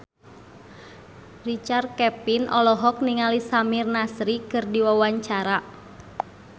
Richard Kevin olohok ningali Samir Nasri keur diwawancara